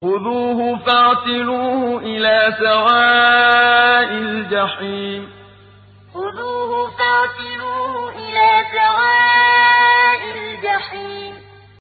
خُذُوهُ فَاعْتِلُوهُ إِلَىٰ سَوَاءِ الْجَحِيمِ خُذُوهُ فَاعْتِلُوهُ إِلَىٰ سَوَاءِ الْجَحِيمِ